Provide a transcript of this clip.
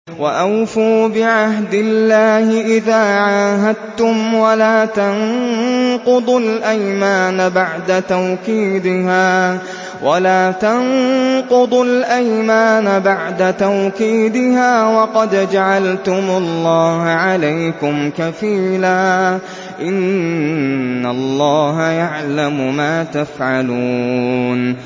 وَأَوْفُوا بِعَهْدِ اللَّهِ إِذَا عَاهَدتُّمْ وَلَا تَنقُضُوا الْأَيْمَانَ بَعْدَ تَوْكِيدِهَا وَقَدْ جَعَلْتُمُ اللَّهَ عَلَيْكُمْ كَفِيلًا ۚ إِنَّ اللَّهَ يَعْلَمُ مَا تَفْعَلُونَ